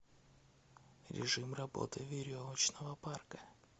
режим работы веревочного парка